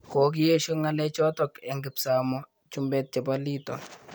Kokiesho ngalechotok eng kipsamoo chumbet chepo Lito